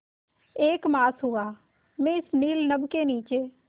एक मास हुआ मैं इस नील नभ के नीचे